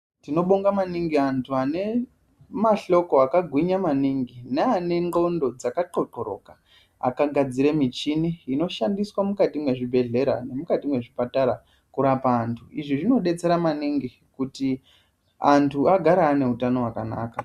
Tinobonga maningi anhu ane mahloko akagwinya maningi neane ndlondo dzaka thlothloloka, akagadzire michini inoshandiswe mukati mwezvibhehlera nemukati mwezvipatara, kurapa antu. Izvi zvinodetsera maningi kuti antu agare ane utano hwakanaka.